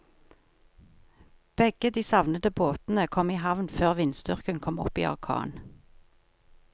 Begge de savnede båtene kom i havn før vindstyrken kom opp i orkan.